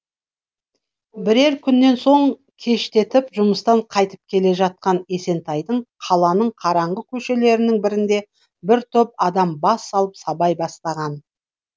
бірер күннен соң кештетіп жұмыстан қайтып келе жатқан есентайды қаланың қараңғы көшелерінің бірінде бір топ адам бас салып сабай бастаған